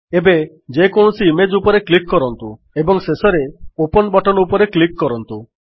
ଏବେ ଯେକୌଣସି ଇମେଜ୍ ଉପରେ କ୍ଲିକ୍ କରନ୍ତୁ ଏବଂ ଶେଷରେ ଓପନ୍ ବଟନ୍ ଉପରେ କ୍ଲିକ୍ କରନ୍ତୁ